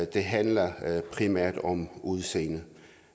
det handler primært om udseendet